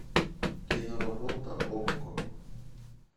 киноработа окко